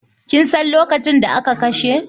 Kin san lokacin da aka kashe?